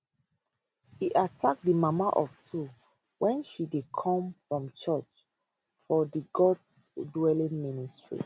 e attack di mama of two wen she dey come from church for di gods dwelling ministry